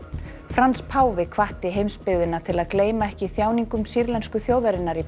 Frans páfi hvatti heimsbyggðina til að gleyma ekki þjáningum sýrlensku þjóðarinnar í